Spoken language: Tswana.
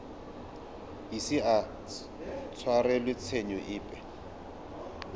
ise a tshwarelwe tshenyo epe